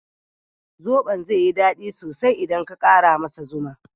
Zoɓon zai yi dadi sosai idan ka ƙara masa zuma.